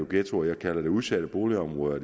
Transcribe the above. ghettoer jeg kalder det udsatte boligområder